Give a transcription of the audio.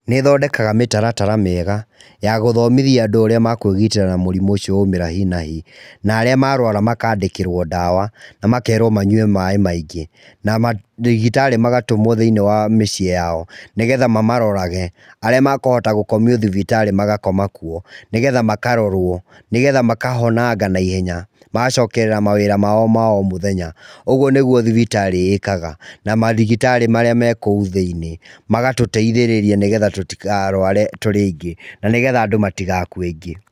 Nĩ ĩthondekaga mĩtarara mĩega ya gũthomithia andũ ũrĩa makwĩgitĩra na mũrimũ ũcio waumĩra hi na hi na arĩa marũara makandĩkĩrwo ndawa na makerwo manyue maĩ maingĩ na mandagĩtarĩ magatũmwo thĩiniĩ wa mĩciĩ yao nĩ getha mamarorage. Arĩa makũhota gũkomio thibitarĩ magakoma kuo, nĩ getha makarorwo nĩ getha makahonanga naihenya magacokerera mawĩra mao ma o mũthenya. Ũguo nĩguo thibitarĩ ĩkaga, na mandagĩtarĩ marĩa makĩrĩ kũu thĩiniĩ magatũteithĩrĩria tũtikarware tũrĩ andũ aingĩ na nĩ getha andũ matigakue aingĩ.